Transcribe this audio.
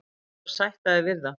Þú verður að sætta þig við það.